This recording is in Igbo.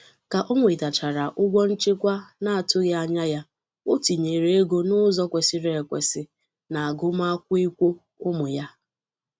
ka o nwetachara ụgwọ nchekwa na-ọtụghị anya ya, o tinyere ego n'ụzọ kwesiri ekwesi n'agụmakwụlkwọ ụmụ ya.